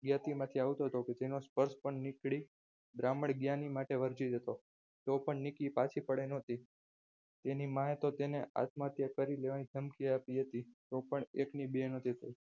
માંથી આવતું તો કે તેનું સ્પર્શ પણ બ્રાહ્મણ જ્ઞાની માટે વર્ચિત હતો. તો પણ નિકી પાછી પડે એમ નથી તેને તેની માએ તો આત્મહત્યા કરી લેવાની ધમકી આપી હતી પણ એકની બે નથી થઈ.